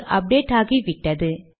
அது அப்டேட் ஆகிவிட்டது